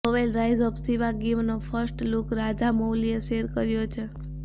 novel rise of શિવાગામીનો first look રાજામૌલીએ share કર્યો છે